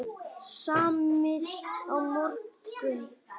Samið á morgun